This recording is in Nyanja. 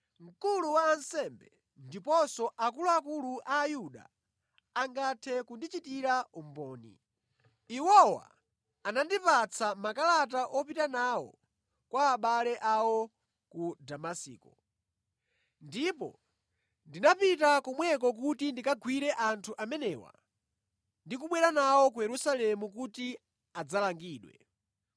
Mkulu wa ansembe ndiponso akuluakulu a Ayuda angathe kundichitira umboni. Iwowa anandipatsa makalata opita nawo kwa abale awo ku Damasiko. Ndipo ndinapita kumeneko kuti ndikawagwire anthu amenewa ndi kubwera nawo ku Yerusalemu kuti adzalangidwe.